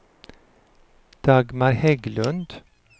Dagmar Hägglund